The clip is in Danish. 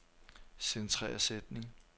Centrer sætning.